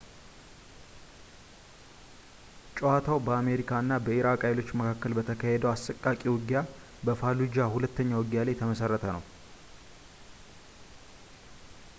ጨዋታው በአሜሪካ እና በኢራቅ ኃይሎች መካከል በተካሄደው አሰቃቂ ውጊያ በ fallujah ሁለተኛ ውጊያ ላይ የተመሠረተ ነው